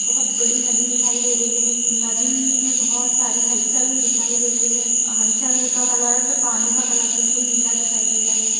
बहोत बड़ी नदी दिखाई दे रही है नदी में बहोत सारी हलचल दिखाई दे रही है हलचल का कलर जो पानी का कलर बिलकुल नीला दिखाई दे रहा है।